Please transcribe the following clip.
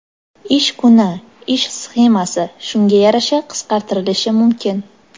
ish kuni (ish smenasi) shunga yarasha qisqartirilishi mumkin.